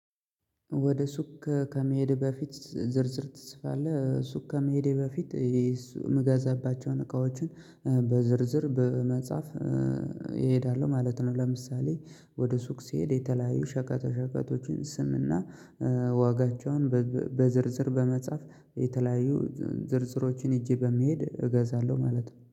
ወደ ሱቅ ከመሄድ በፊት ዝርዝር ትጽፋለህ ሱቅ ከመሄዴ በፊት የምገዛባቸውን እቃዎችን በዝርዝር በመጻፍ እሄዳለሁ ማለት ነው። ለምሳሌ ወደ ሱቅ ሲሄድ የተለያዩ ሸቀጦ ሸቀጦችን ስምና ዋጋቸውን በዝርዝር በመጻፍ የተለያዩ ዝርዝሮችን ሄጄ በሚሄድ እገዛለሁ ማለት ነው